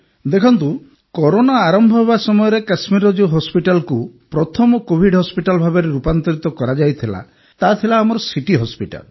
ଦେଖନ୍ତୁ କରୋନା ଆରମ୍ଭ ହେବା ସମୟରେ କାଶ୍ମୀରର ଯେଉଁ ହସପିଟାଲକୁ ପ୍ରଥମ କୋଭିଡ ହସ୍ପିଟାଲ୍ ଭାବରେ ରୂପାନ୍ତରିତ କରାଯାଇଥିଲା ତାହାଥିଲା ଆମର ସିଟି ହସପିଟାଲ୍